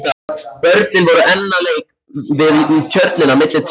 Börnin voru enn að leik við tjörnina milli trjánna.